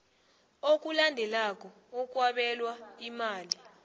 okulandelako okwabelwa imali